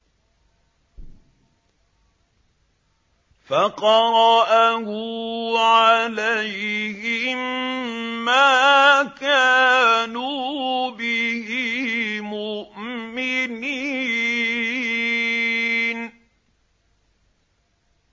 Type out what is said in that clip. فَقَرَأَهُ عَلَيْهِم مَّا كَانُوا بِهِ مُؤْمِنِينَ